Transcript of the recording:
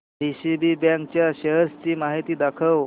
DCB bank च्या shares ची माहिती दाखव